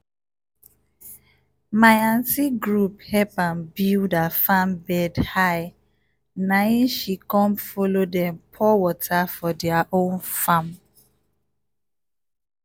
my aunty group help am build her farm bed high nai she com follow dem pour water for their own farm